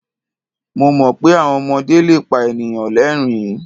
Mo mọ̀ pé àwọn ọmọdé le pa ènìyàn lẹ́rìn-ín.